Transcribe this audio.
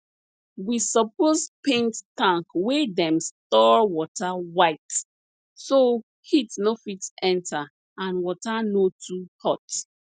we suppose paint tank wey dem store water white so heat no fit enta and water no too hot